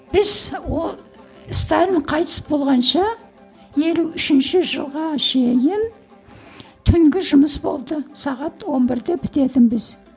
біз ол сталин қайтыс болғанша елу үшінші жылға шейін түнгі жұмыс болды сағат он бірде бітетінбіз